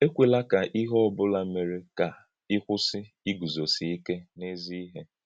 Èkwèlà kà íhè ọ́bụ̀là mèrè kà í kwụsị́ ígùzósì íké n’èzí-íhè!